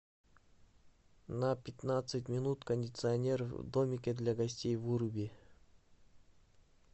на пятнадцать минут кондиционер в домике для гостей выруби